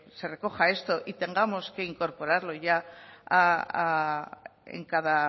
se recoja esto y tengamos que incorporarlo ya en cada